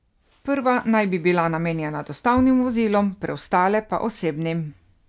Prva naj bi bila namenjena dostavnim vozilom, preostale pa osebnim.